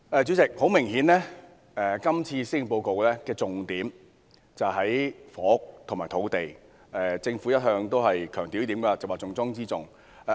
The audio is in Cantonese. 主席，很明顯，今年施政報告的重點在於房屋和土地，政府一向強調有關事宜是重中之重。